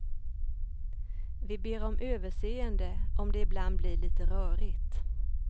Vi ber om överseende om det ibland blir lite rörigt.